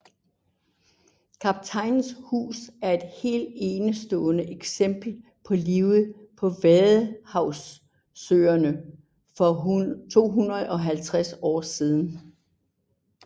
Kaptajnens hus er et helt enestående eksempel på livet på vadehavsøerne for 250 år siden